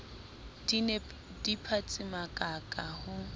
di ne di phatsimakaka ho